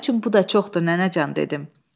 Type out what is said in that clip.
Mənim üçün bu da çoxdur nənəcan dedim.